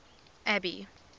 abby